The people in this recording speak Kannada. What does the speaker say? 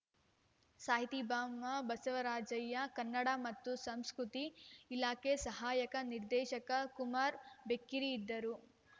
ಸಾಹಿತಿ ಬಾಮಬಸವರಾಜಯ್ಯ ಕನ್ನಡ ಮತ್ತು ಸಂಸ್ಕೃತಿ ಇಲಾಖೆ ಸಹಾಯಕ ನಿರ್ದೇಶಕ ಕುಮಾರ್ ಬೆಕ್ಕೇರಿ ಇದ್ದರು